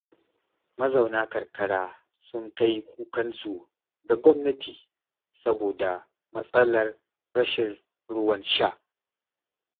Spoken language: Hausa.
Mazauna karkara sun kai kukansu ga gwamnati saboda matsalar rashin ruwan sha.